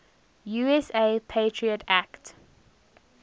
usa patriot act